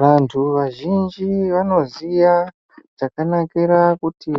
Vantu vazhinji vanoziya zvakanakira kuti